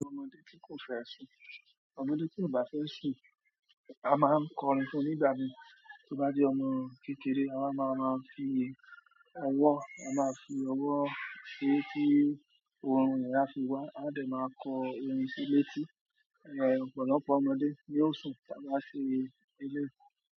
Ọmọdé ti o fe sun, ọmọdé tio ba sun ama n kọrin fún nígbà miin tó bá jẹ́ ọmọ kékeré, a máa máa ń fi ọwọ́, a máa fi ọwọ́ sé tí ohun yi á fi wá, a dẹ̀ máa kọ ohun sí létí, ọ̀pọ̀lọpọ̀ ọmọdé ni ó sùn tá bá ṣe eléyìí.